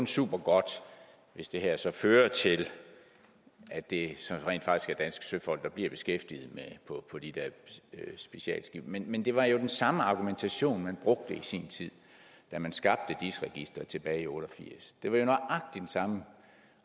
supergodt hvis det her så fører til at det så rent faktisk er danske søfolk der bliver beskæftiget på de der specialskibe men men det var jo den samme argumentation man brugte i sin tid da man skabte dis registeret tilbage i nitten otte og firs det var jo nøjagtig den samme